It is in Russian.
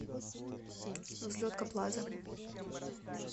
взлетка плаза